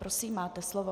Prosím, máte slovo.